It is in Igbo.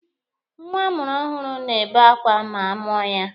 Nwa amụrụ ọhụrụ na-ebe akwa ma a mụọ ya.